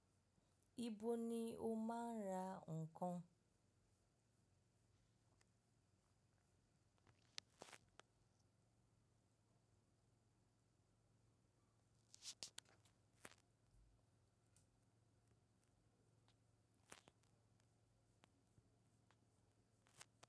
Ibo ni o máa ń ra nkan?